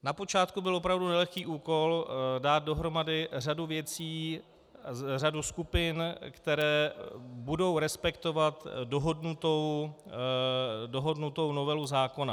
Na počátku byl opravdu nelehký úkol dát dohromady řadu věcí, řadu skupin, které budou respektovat dohodnutou novelu zákona.